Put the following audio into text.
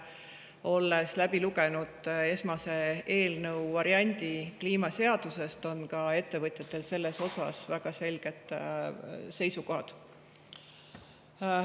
Nimelt olen läbi lugenud kliimaseaduse eelnõu esmase variandi ja ka ettevõtjatel on selles suhtes väga selged seisukohad.